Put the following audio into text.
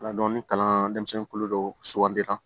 ni kalan denmisɛnnin kolo dɔ sugandira